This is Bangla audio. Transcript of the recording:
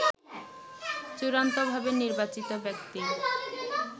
চূড়ান্তভাবে নির্বাচিত ব্যক্তি